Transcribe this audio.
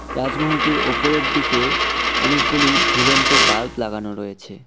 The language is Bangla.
রাজমহলটির ওপরের দিকে অনেকগুলি ঝুলন্ত বাল্ব লাগানো রয়েছে।